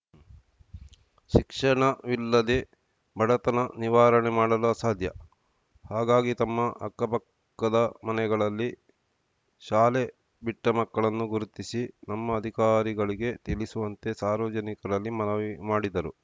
ಶಿಕ್ಷಣವಿಲ್ಲದೆ ಬಡತನ ನಿವಾರಣೆ ಮಾಡಲು ಅಸಾಧ್ಯ ಹಾಗಾಗಿ ತಮ್ಮ ಅಕ್ಕಪಕ್ಕದ ಮನೆಗಳಲ್ಲಿ ಶಾಲೆ ಬಿಟ್ಟಮಕ್ಕಳನ್ನು ಗುರುತಿಸಿ ನಮ್ಮ ಅಧಿಕಾರಿಗಳಿಗೆ ತಿಳಿಸುವಂತೆ ಸಾರ್ವಜನಿಕರಲ್ಲಿ ಮನವಿ ಮಾಡಿದರು